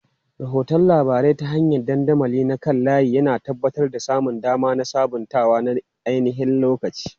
Rahoton labarai ta hanyar dandamali na kan layi, yana tabbatar da samun dama da sabuntawa na ainihin-lokaci.